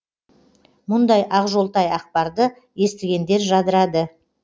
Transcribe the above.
мұндай ақжолтай ақпарды естігендер жадырады